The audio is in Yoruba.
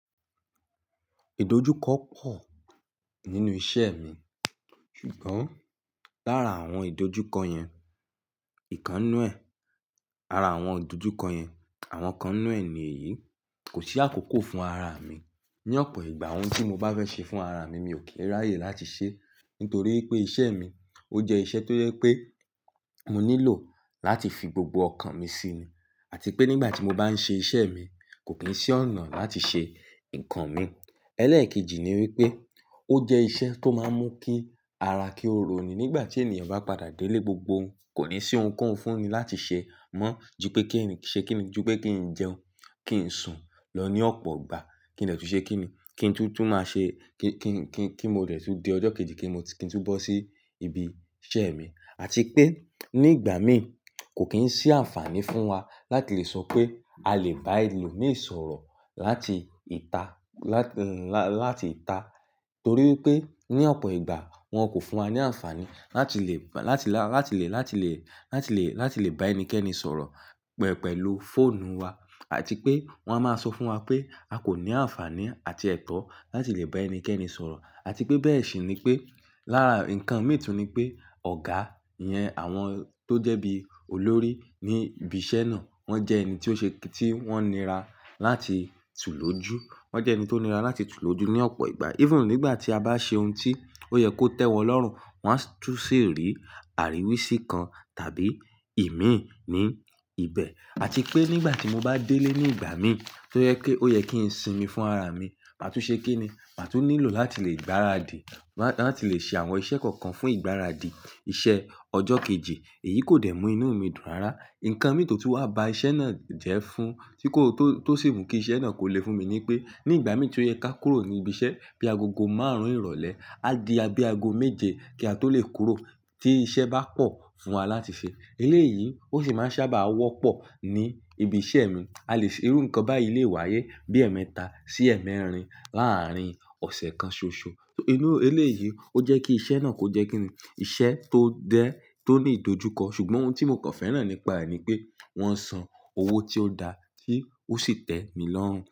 Ìdojúkọ pọ̀ nínú iṣẹ́ mi, ṣùgbọ́n láàárín àwọn ìdojúkọ yẹn, ìkan nu ẹ̀, ara àwọn ìdojúkọ yẹn, àwọn kan nu ẹ̀ ní èyí, kò sí àkókò fún ara mi. Ni ọ̀pọ̀ ìgbà ohun tí mo bá fẹ́ ṣe fún ara mi, mi ò kí n ráyè láti ṣe. Nítorí pé iṣẹ́ mi ó jẹ́ iṣẹ́ tó yẹ pé mo nílò láti fi gbogbo ọkàn mi sí i àti pé nígbà tí mo bá ń ṣe iṣẹ́ mi, kò kí ń sí ọ̀nà láti ṣe nǹkan mi. Ẹlẹ́ẹ̀kejì ni wípé ó jẹ́ iṣẹ́ tó máa ń mú kí ara kí ó roni nígbà tí ènìyàn bá padà délé gbogbo òun, kò ní sí ohun kan fúnni láti ṣe mọ́ jú pé kí ń ṣe kín ní jú pé kí ń jẹun, kí ń sùn lọ ní ọ̀pọ̀ ìgbà, kí ń dẹ̀ tú ṣe kín ní, kí ń tú tú máa ṣe kí ń kí ń kí ń kí mo dẹ̀ tú di ọjọ́ kejì kí mo kí ń tú bọ́ sí ibi iṣẹ́ mi. Àti pé nígbà mí kò kí ń sí àǹfààní fún wa láti lè sọ pé a lè bá ẹlòmíràn sọ̀rọ̀ láti ìta láti lá láti ìta. Torí pé ní ọ̀pọ̀ ìgbà wọ́n kò fún wa ní àǹfààní láti lè láti lá láti lè láti lè láti lè láti lè bá ẹnikẹ́ni sọ̀rọ̀ pẹ̀pẹ̀lú fóònù wa àti pé wọ́n á máa sọ fún wa pé a kò ní àǹfààní àti ẹ̀tọ́ láti lè bá ẹnikẹ́ni sọ̀rọ̀. Àti pé bẹ́ẹ̀ sì ni pé lára nǹkan mìíràn tún ni pé ọ̀gá yẹn àwọn tó jẹ́ bí olórí ní ibi iṣẹ́ náà, wọ́n jẹ́ ẹni tí ó ṣe kí tí wọ́n nira láti tú lójú. Wọ́n jẹ́ ẹni tó nira láti tú lójú ní ọ̀pọ̀ ìgbà. Even nígbà tí a bá ṣe ohun tí ó yẹ kó tẹ́wọ́ lọ́rùn, wọ́n á tún ṣèrí àríwísí kan tàbí ìmíì ní ibẹ̀. Àti pé nígbà tí mo bá délé nígbà mí tí ó yẹ kí ó yẹ kí ń sinmi fún ara mi, màá tún ṣe kín ni, màá tún nílò láti lè gbáradì, màá láti lè ṣe àwọn iṣẹ́ kọ̀ọ̀kan fún ìgbáradì iṣẹ́ ọjọ́ kejì èyí kò dẹ̀ mú inú mi dùn rárá. Ǹǹkan mìíràn tó tún wá ba iṣẹ́ náà jẹ́ fún tí kò tó tó sì mú kí iṣẹ́ náà kò le fún mi ni pé nígbà mí tí ó yẹ ká kúrò ní ibi iṣẹ́ bí a gogo márùn-ún ìrọ̀lẹ́, á di e bí aago méje kí a tó lè kúrò tí iṣẹ́ bá pọ̀ fún wa láti ṣe. Eléyìí ó sì máa ń sábà wọ́pọ̀ ní ibi iṣẹ́ mi. A lè rí nǹkan báyìí lè wáyé bí ẹ̀mẹta sí ẹ̀mẹrin láàárín ọ̀sẹ̀ kan ṣoṣo. Inú Eléyìí ó jẹ́ kí iṣẹ́ náà kò jẹ́ kíni. Ìṣẹ́ tó dẹ́, tó ní ìdojúkọ ṣùgbọ́n ohun tí mo kàn fẹ́ràn nípa rẹ̀ ni pé wọ́n san owó tí ó da tí ó sì tẹ́ mi lọ́rùn.